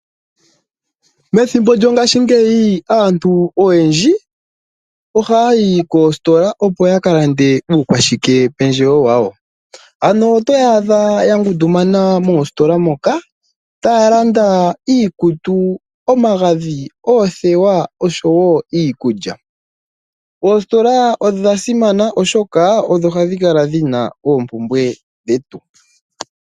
Methimbo lyongashingeyi aantu oyendji ohaya yi koositola, opo ya ka lande uukwashike pendjewo wawo. Oto ya adha ya ngundumana moositola moka taya landa iikutu, omagadhi, oothewa oshowo iikulya. Oositola odha simana, oshoka odho hadhi kala dhi na oompumbwe dhetu.